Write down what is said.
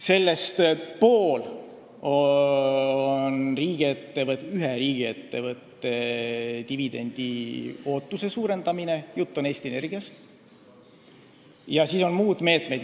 Sellest pool on ühe riigiettevõtte dividendiootuse suurendamine – jutt on Eesti Energiast – ja siis on muud meetmed.